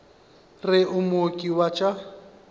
re o mooki wa tša